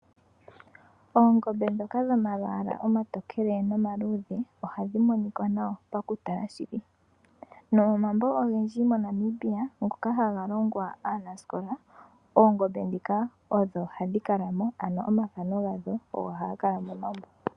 Oongombe ndhoka dhomalwaalwa omatokele nomaludhe ohadhi monika nawa paku tala shili. Nomo mambo ogendji mo Namibia ngoka haga longwa aanasikola oongombe ndhika odho hadhi kalamo, ano omathano gadho ogo haga kala momambo.